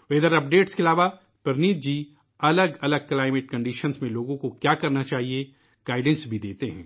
موسم کی تازہ معلومات کے علاوہ ، پرنیت جی الگ الگ آب و ہوا کی صورت حال میں لوگوں کو کیا کرنا چاہیئے ، اس کی بھی رہنمائی کرتے ہیں ،